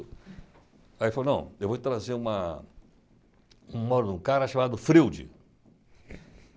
Aí ele falou, não, eu vou te trazer uma um mano, um cara chamado Freude.